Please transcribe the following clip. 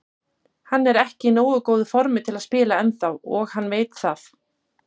Hann er ekki í nógu góðu formi til að spila ennþá og hann veit það.